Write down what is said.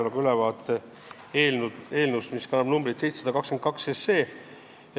Annan ülevaate eelnõust, mis kannab numbrit 722.